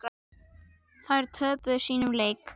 Þær töpuðu sínum leik.